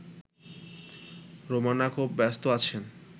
রোমানা খুব ব্যস্ত আছেন